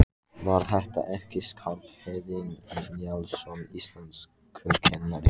Var þetta ekki Skarphéðinn Njálsson, íslenskukennari?